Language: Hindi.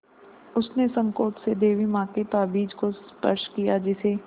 उसने सँकोच से देवी माँ के ताबीज़ को स्पर्श किया जिसे